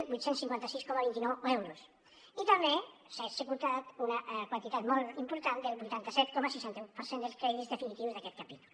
vuit cents i cinquanta sis coma vint nou euros i també s’ha executat una quantitat molt important del vuitanta set coma seixanta un per cent dels crèdits definitius d’aquest capítol